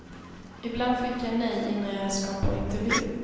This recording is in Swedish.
Ibland fick jag nej innan jag ens kom på intervju.